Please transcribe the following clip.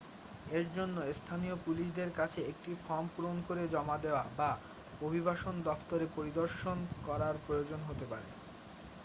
এর জন্য স্থানীয় পুলিশদের কাছে একটি ফর্ম পূরণ করে জমা দেওয়া বা অভিবাসন দফতরে পরিদর্শন করার প্রয়োজন হতে পারে